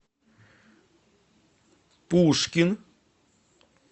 пушкин